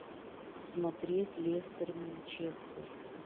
смотреть лестер манчестер